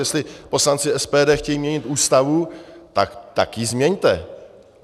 Jestli poslanci SPD chtějí měnit Ústavu, tak ji změňte.